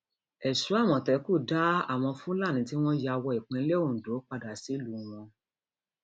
èso àmọtẹkùn dá àwọn fúlàní tí wọn ya wọ ìpínlẹ ondo padà sílùú wọn